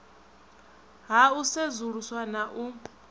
ha u sedzuluswa na u